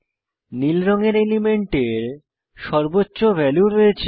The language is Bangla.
নীল রঙের এলিমেন্টের সর্বোচ্চ ভ্যালু রয়েছে